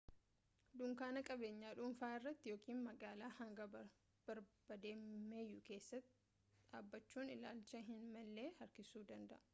dunkaana qabeenya dhunfaa irratti ykn magaala hanga barbaadameyyuu keessatti dhaabbachuun ilaalcha hin malle harkiisuu danda'a